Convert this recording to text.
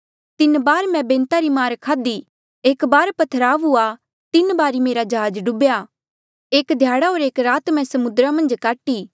तीन बार मैं बैंता री मार खाध्ही एक बार पत्थरवाह हुआ तीन बार मेरा जहाज डुबेया एक ध्याड़ा होर एक रात मैं समुद्रा मन्झ काटी